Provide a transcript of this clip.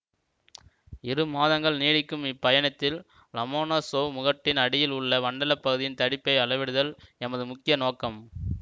இரு மாதங்கள் நீடிக்கும் இப்பயணத்தில் லமனோசொவ் முகட்டின் அடியில் உள்ள வண்டல் பகுதியின் தடிப்பை அளவிடுதல் எமது முக்கிய நோக்கம்